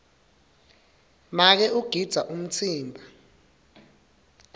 make ugidza umtsimba